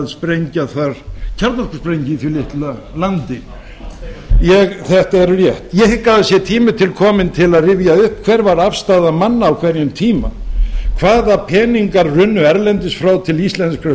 sprengja þar kjarnorkusprengju í því litla landi þetta er rétt ég hygg að það sé tími til kominn til að rifja upp hver var afstaða manna á hverjum tíma hvaða peningar runnu erlendis frá til íslenskra